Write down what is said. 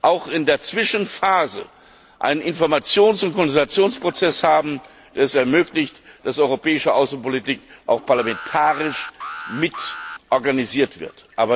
auch in der Zwischenphase einen Informations und Konsultationsprozess haben, der es ermöglicht, dass europäische Außenpolitik auch parlamentarisch mitorganisiert wird.